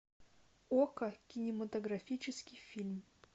окко кинематографический фильм